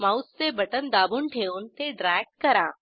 माऊसचे बटण दाबून ठेवून ते ड्रॅग करा